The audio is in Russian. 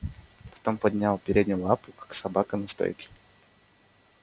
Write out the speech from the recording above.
потом поднял переднюю лапу как собака на стойке